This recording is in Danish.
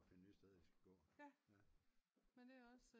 For at finde nye steder de skal gå